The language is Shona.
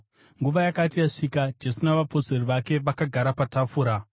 Nguva yakati yasvika, Jesu navapostori vake vakagara patafura.